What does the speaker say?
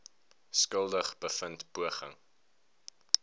skuldig bevind poging